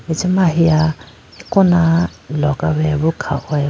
acha ma ahiya akona logaweya boo khahoye boo.